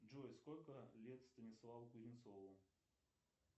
джой сколько лет станиславу кузнецову